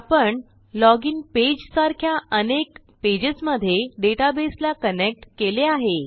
आपणLoginphp page सारख्या अनेक पेजेसमधे डेटाबेसला कनेक्ट केले आहे